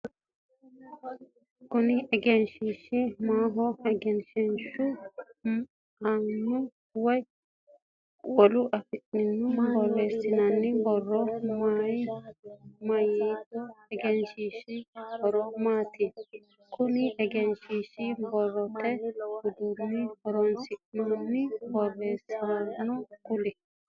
Kunni egenshiishi mayinniho? Egenshiishu aanna wolu afiinni boreesinonni borro mayitanote? Egenshiishu horo maati? Konne egenshiisha borote uduunicho horoonsi'ne boreesinoonnihoro kuli?